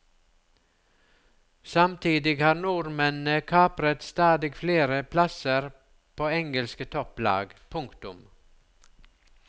Samtidig har nordmennene kapret stadig flere plasser på engelske topplag. punktum